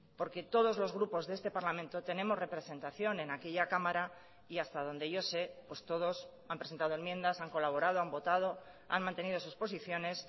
porque todos los grupos de este parlamento tenemos representación en aquella cámara y hasta donde yo sé todos han presentado enmiendas han colaborado han votado han mantenido sus posiciones